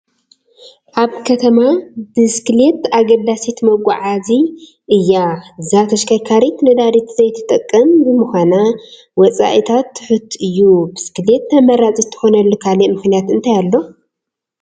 ኣብ ከተማ ብስክሌት ኣገዳሲት መጓዓዓዚ እያ፡፡ እዛ ተሽከርካሪት ነዳዲት ዘይትጥቀም ብምዃና ወፃኢአ ትሑት እዩ፡፡ ብስክሌት ተመራፂት ትኾነሉ ካልእ ምኽንያት እንታይ ኣሎ?